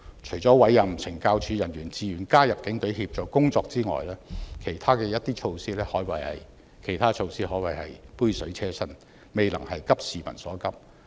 除了委任懲教署人員自願加入警隊協助工作之外，其他的措施可謂杯水車薪，未能急市民所急。